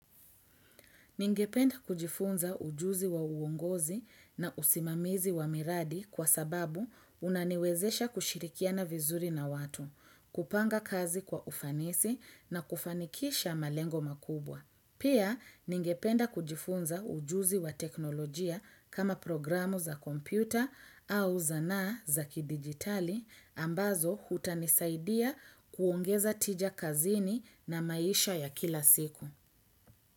Ningependa kujifunza ujuzi wa uongozi na usimamizi wa miradi kwa sababu unaniwezesha kushirikiana na vizuri na watu, kupanga kazi kwa ufanisi na kufanikisha malengo makubwa. Pia ningependa kujifunza ujuzi wa teknolojia kama programu za kompyuta au zanaa za kidigitali ambazo hutanisaidia kuongeza tija kazini na maisha ya kila siku.